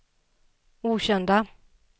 okända